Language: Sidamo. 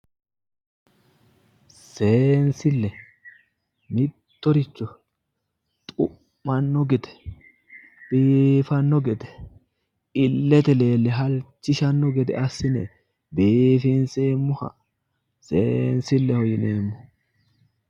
Seensille mittoricho xu'manno gede biifanno gede illete leelle halchishanno gede assine biifinsemmoha seensilleho yineemmo.